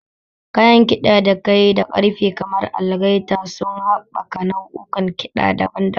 Kayan ƙiɗa da kayi da ƙarfe kamar algaita suna haɓaka nau'ukan kiɗa daban-daban.